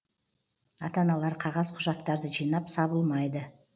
ата аналар қағаз құжаттарды жинап сабылмайды